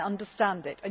I understand it.